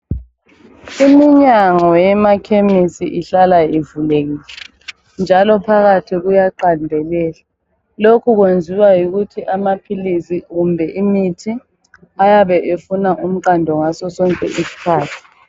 Iminyango yemakhemisi ihlala ivulekile njalo phakathi kuyaqandelela . Lokhu kwenziwa yikuthi amaphilizi kumbe imithi ayabe efuna umqando ngaso sonke isikhathi.